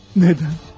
Nədən?